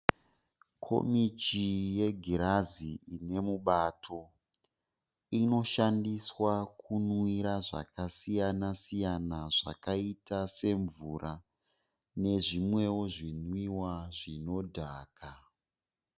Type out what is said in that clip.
Komichi yegirazi ine mubato. Inoshandiswa kunwira zvakasiyana siyana zvakaita semvura nezvimwewo zvinwiwa zvinodhaka.